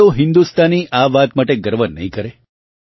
કયો હિન્દુસ્તાની આ વાત માટે ગર્વ નહીં કરે